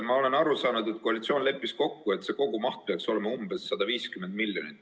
Ma olen aru saanud, et koalitsioon leppis kokku, et kogumaht peaks olema umbes 150 miljonit.